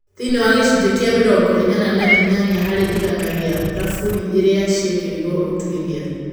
Thĩiniĩ wa gĩcunji kia mĩrongo ĩnana na inyanya harĩ igana gĩa thamburĩ irĩa ciekĩirwo ũtwĩria.